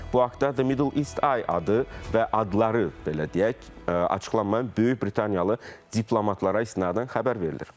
Bu haqda The Middle East Eye adı və adları belə deyək, açıqlanmayan Böyük Britaniyalı diplomatlara istinadən xəbər verilir.